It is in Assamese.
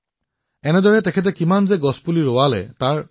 যোগনাথন জীয়ে তেওঁৰ দৰমহাৰ এটা ডাঙৰ অংশ এই কামত ব্যয় কৰি আছে